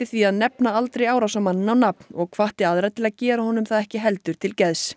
því að nefna aldrei árásarmanninn á nafn og hvatti aðra til að gera honum það ekki heldur til geðs